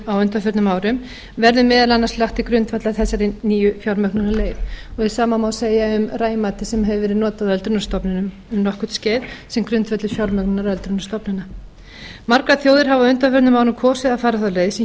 á undanförnum árum verði meðal annars lagt til grundvallar þessari nýju fjármögnunarleið hið sama má segja um rei matið sem hefur verið notað á öldrunarstofnunum um nokkurt skeið sem grundvöllur fjármögnunar öldrunarstofnana margar þjóðir hafa á undanförnum árum kosið að fara þá leið sem